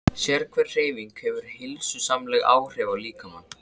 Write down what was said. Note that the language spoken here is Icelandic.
Sérhver hreyfing hefur heilsusamleg áhrif á líkamann.